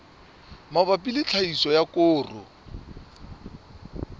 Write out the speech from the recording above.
mabapi le tlhahiso ya koro